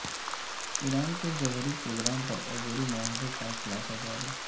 ایران کے جوہری پروگرام پر عبوری معاہدے کا خلاصہ جاری